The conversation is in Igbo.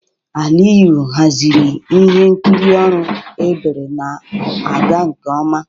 Aliyu haziri ihe nkiri ọrụ ebere na-aga nke ọma.